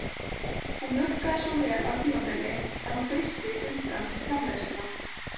Hún mjólkaði svo vel á tímabili að hún frysti umfram-framleiðsluna